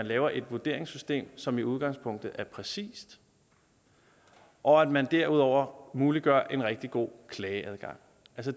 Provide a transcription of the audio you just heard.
lave et vurderingssystem som i udgangspunktet er præcist og at man derudover muliggør en rigtig god klageadgang